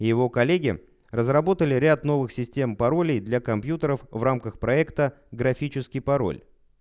его коллеги разработали ряд новых систем паролей для компьютеров в рамках проекта графический пароль